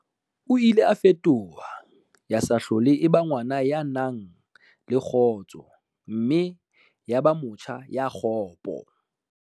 O ile a fetoha ya sa hlole e ba ngwana ya nang le kgotso mme ya ba motjha ya kgopo.